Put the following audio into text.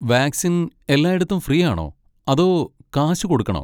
Vaccine എല്ലാടത്തും free ആണോ, അതോ കാശ് കൊടുക്കണോ?